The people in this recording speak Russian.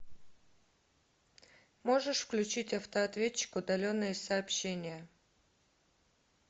можешь включить автоответчик удаленные сообщения